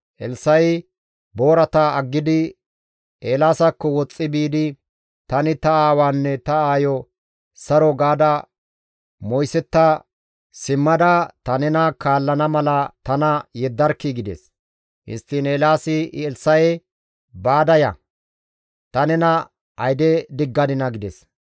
Elssa7i boorata aggidi Eelaasakko woxxi biidi, «Tani ta aawaanne ta aayo saro gaada moysetta simmada ta nena kaallana mala tana yeddarkkii!» gides. Histtiin Eelaasi Elssa7e, «Baada ya! Ta nena ayde diggadinaa?» gides.